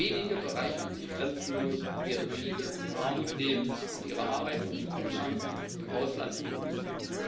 Wenige bereichern sich grenzenlos, während viele in Armut leben und ihre Arbeits und Zukunftschancen im Ausland suchen müssen.